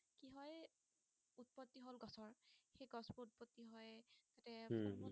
উম